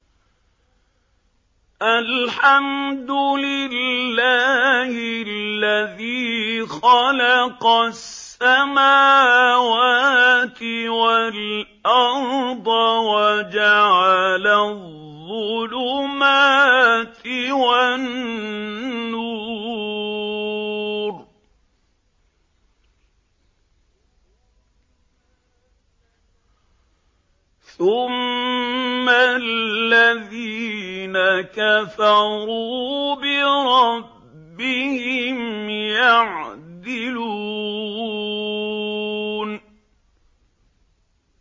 الْحَمْدُ لِلَّهِ الَّذِي خَلَقَ السَّمَاوَاتِ وَالْأَرْضَ وَجَعَلَ الظُّلُمَاتِ وَالنُّورَ ۖ ثُمَّ الَّذِينَ كَفَرُوا بِرَبِّهِمْ يَعْدِلُونَ